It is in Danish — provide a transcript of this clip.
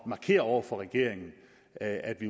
markere over for regeringen at vi